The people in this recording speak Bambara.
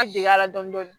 An dege a la dɔɔni dɔɔni